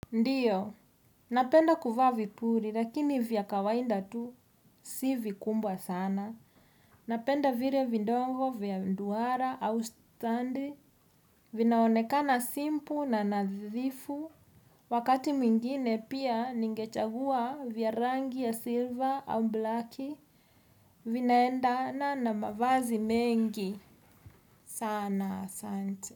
Ndio, napenda kuvaa vipuri lakini vya kawaida tu si vikubwa sana. Napenda vile vidogo vya duara au stadi. Vinaonekana simple na nadhifu. Wakati mwingine pia ningechagua vya rangi ya silver au blaki. Vinaendana na mavazi mengi. Sana, asanti.